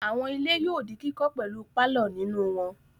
Àwọn ilé yóò di kíkọ́ pẹ̀lú pálọ̀ nínú wọn.